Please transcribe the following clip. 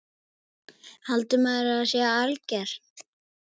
Haldiði að maður sé alger!